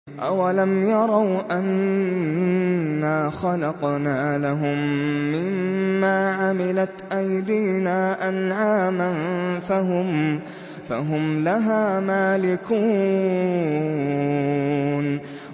أَوَلَمْ يَرَوْا أَنَّا خَلَقْنَا لَهُم مِّمَّا عَمِلَتْ أَيْدِينَا أَنْعَامًا فَهُمْ لَهَا مَالِكُونَ